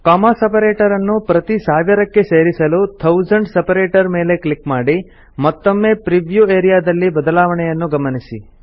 comma separator ಅನ್ನು ಪ್ರತಿಸಾವಿರಕ್ಕೆಗೆ ಸೇರಿಸಲು ಥೌಸೆಂಡ್ಸ್ ಸೆಪರೇಟರ್ ಮೇಲೆ ಕ್ಲಿಕ್ ಮಾಡಿ ಮತ್ತೊಮ್ಮೆ ಪ್ರಿವ್ಯೂ ಆರಿಯಾ ದಲ್ಲಿ ಬದಲಾವಣೆಯನ್ನು ಗಮನಿಸಿ